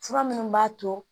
Fura minnu b'a to